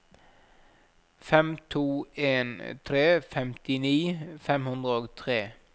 fem to en tre femtini fem hundre og tre